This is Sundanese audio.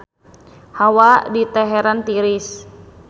Hawa di Teheran tiris